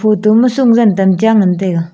photo ma sungjan tam cha ngan taiga.